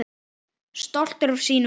Stoltur af sínu húsi.